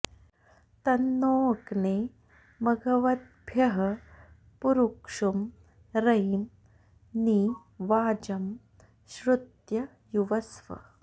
तं नो॑ अग्ने म॒घव॑द्भ्यः पुरु॒क्षुं र॒यिं नि वाजं॒ श्रुत्यं॑ युवस्व